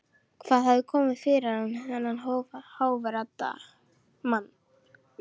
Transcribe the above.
Hvað hafði komið fyrir þennan hógværa mann?